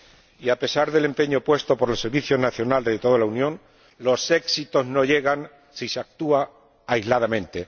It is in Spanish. Y, a pesar del empeño puesto por los servicios nacionales de toda la Unión, los éxitos no llegan si se actúa aisladamente.